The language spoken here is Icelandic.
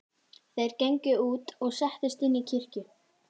Þeir gengu út og settust inn í kirkju.